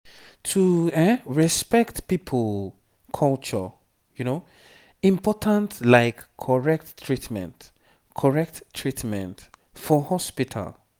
to respect people culture important like correct treatment correct treatment for hospital.